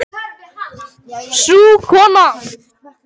Sú kona